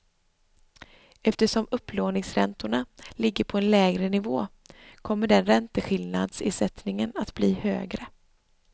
Eftersom upplåningsräntorna ligger på en lägre nivå kommer den ränteskillnadsersättningen att bli högre.